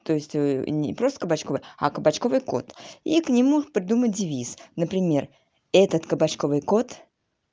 то есть не просто кабачковый а кабачковый кот и к нему придумать девиз например этот кабачковый кот